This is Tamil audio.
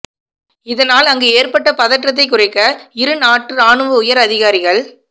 இதனால் அங்கு ஏற்பட்ட பதற்றத்தை குறைக்க இரு நாட்டு ராணுவ உயர் அதிகாரிகள்